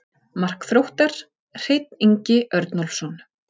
Mark Þróttar: Hreinn Ingi Örnólfsson.